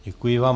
Děkuji vám.